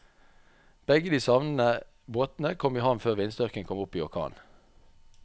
Begge de savnede båtene kom i havn før vindstyrken kom opp i orkan.